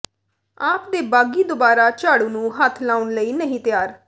ਆਪ ਦੇ ਬਾਗ਼ੀ ਦੋਬਾਰਾ ਝਾੜੂ ਨੂੰ ਹੱਥ ਲਾਉਣ ਲਈ ਨਹੀਂ ਤਿਆਰ